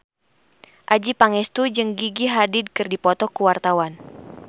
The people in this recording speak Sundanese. Adjie Pangestu jeung Gigi Hadid keur dipoto ku wartawan